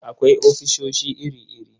Akwai ofisoshi iri-iri.